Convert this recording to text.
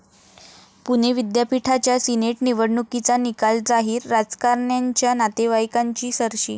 पुणे विद्यापीठाच्या सिनेट निवडणुकीचा निकाल जाहीर, राजकारण्यांच्या नातेवाईंकांची सरशी